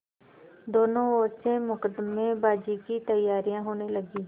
दोनों ओर से मुकदमेबाजी की तैयारियॉँ होने लगीं